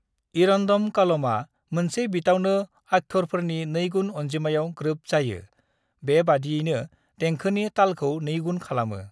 "इरंदम कालमआ मोनसे बीटावनो अक्षरफोरनि नैगुन अनजिमायाव ग्रोब जायो, बेबादियैनो देंखोनि तालखौ नैगुन खालामो।"